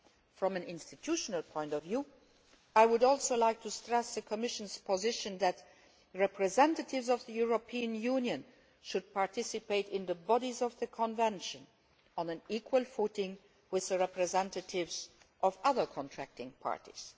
From an institutional point of view I would also like to stress the Commission's position that representatives of the European Union should participate in the bodies of the Convention on an equal footing with the representatives of other contracting parties.